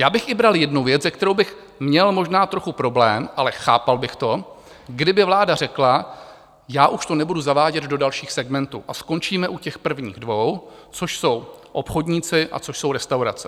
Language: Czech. Já bych i bral jednu věc, se kterou bych měl možná trochu problém, ale chápal bych to, kdyby vláda řekla: já už to nebudu zavádět do dalších segmentů a skončíme u těch prvních dvou, což jsou obchodníci a což jsou restaurace.